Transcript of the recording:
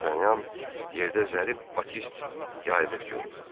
Dartanyan yerdə zərif batist yaylıq gördü.